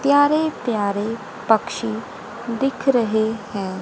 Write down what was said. प्यारे प्यारे पक्षी दिख रहे हैं।